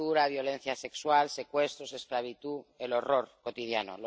Tortura, violencia sexual, secuestros, esclavitud el horror cotidiano.